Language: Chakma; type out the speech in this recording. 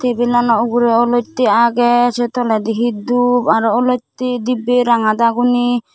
table lano ugure olotte aage sey toledi he dup aro olotti dibbe ranga dagoni.